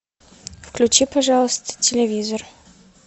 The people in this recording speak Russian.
включи пожалуйста телевизор